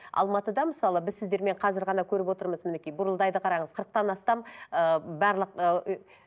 алматыда мысалы біз сіздермен қазір ғана көріп отырмыз мінекей бұрылдайды қараңыз қырықтан астам ыыы барлық